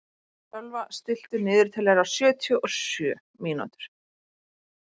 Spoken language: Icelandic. Sölva, stilltu niðurteljara á sjötíu og sjö mínútur.